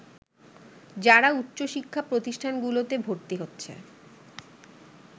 যারা উচ্চশিক্ষা প্রতিষ্ঠানগুলোতে ভর্তি হচ্ছে